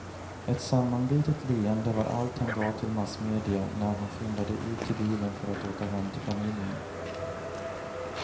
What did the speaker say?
Ett sammanbitet leende var allt han gav till massmedia när han skyndade ut till bilen för att åka hem till familjen.